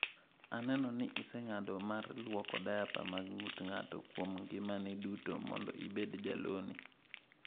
"Aneno ni iseng'ado mar lwoko diaper mag ng'ut ng'ato kuom ngimani duto mondo ibed jalony."